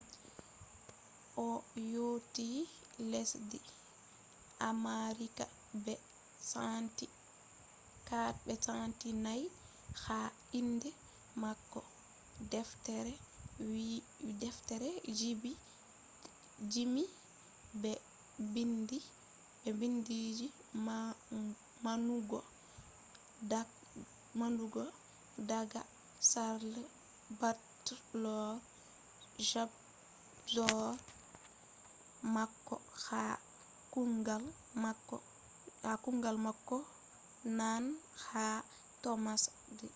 o yotti lesdi amerika be centi 4 ha inde mako deftere gimi be bindi je manugo daga charles batchelor jagorɗo mako ha kuugal mako je nane ha thomas edison